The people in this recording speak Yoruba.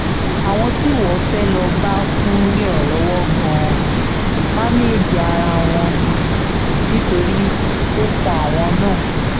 àwọn tíwọ́ fẹ́ẹ́ lóò bá fún ìrànlọ́wọ́ gan-an ń máńgẹ́ẹ̀jì ara wọn ni nítorí ó kan àwọn náà